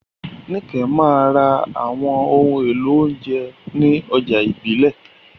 Nike máa ń ra àwọn ohun èlò oúnjẹ ní ọjà ìbílẹ̀.